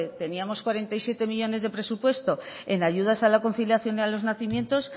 teníamos cuarenta y siete millónes de presupuesto en ayudas a la conciliación y a los nacimientos